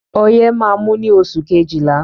Ọyẹ́ máa mú ní oṣù kejìlá.